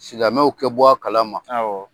Silamɛw kɛ bɔ a kalama.